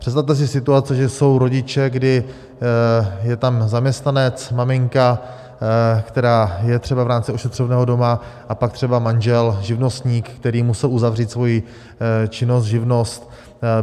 Představte si situaci, že jsou rodiče, kdy je tam zaměstnanec maminka, která je třeba v rámci ošetřovného doma, a pak třeba manžel živnostník, který musel uzavřít svoji činnost, živnost.